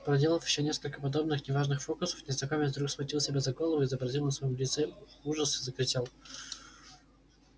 проделав ещё несколько подобных неважных фокусов незнакомец вдруг схватил себя за голову изобразил на своём лице ужас и закричал